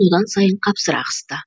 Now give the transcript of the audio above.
одан сайын қапсыра қысты